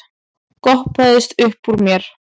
goppaðist uppúr mér.